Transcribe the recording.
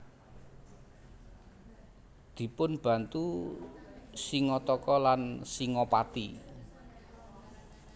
Dipunbantu Singataka lan Singapati